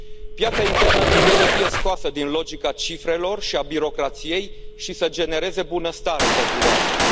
Piața internă trebuie să fie scoasă din logica cifrelor și a birocrației și să genereze bunăstare pentru oameni.